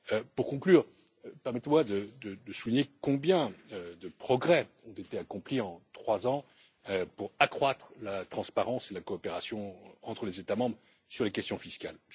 Pour conclure, permettez moi de souligner combien de progrès ont été accomplis en trois ans pour accroître la transparence et la coopération entre les États membres sur les questions fiscales.